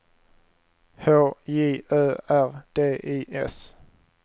H J Ö R D I S